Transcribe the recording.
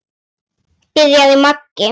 byrjaði Maggi.